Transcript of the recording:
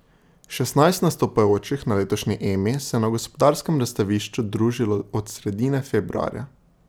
Šestnajst nastopajočih na letošnji Emi se je na Gospodarskem razstavišču družilo od sredine februarja.